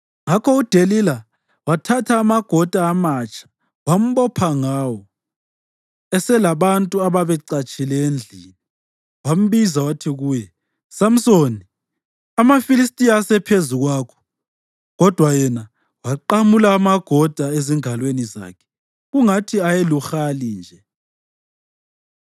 Ngakho uDelila wathatha amagoda amatsha wambopha ngawo. Eselabantu ababecatshe endlini, wambiza wathi kuye, “Samsoni, amaFilistiya asephezu kwakho!” Kodwa yena waqamula amagoda ezingalweni zakhe kungathi ayeluhali nje.